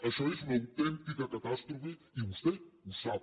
això és una autèntica catàstrofe i vostè ho sap